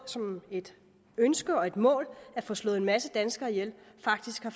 som et ønske og et mål at få slået en masse danskere ihjel faktisk har